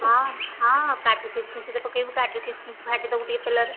ହଁ ହଁ କାଜୁ କିସମିସ ଯଦି ପକେଇବୁ କାଜୁ କିସମିସ ଭାଜିଦେବୁ ଟିକେ ତେଲ ରେ